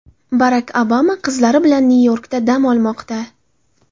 Barak Obama qizlari bilan Nyu-Yorkda dam olmoqda.